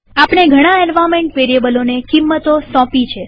આપણે ઘણા એન્વાર્નમેન્ટ વેરીએબલોને કિંમતો સોપી